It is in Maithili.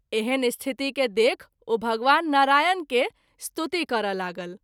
एहन स्थिति के देखि ओ भगवान नारायण के स्तुति करय लागल।